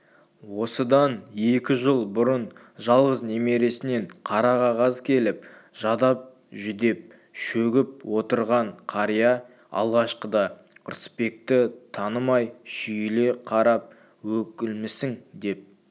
осыдан екі жыл бұрын жалғыз немересінен қара қағаз келіп жадап-жүдеп шөгіп отырған қария алғашқыда рысбекті танымай шүйіле қарап өкілмісің деп